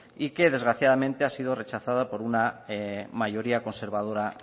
y que desgraciadamente ha sido rechazado por una mayoría conservadora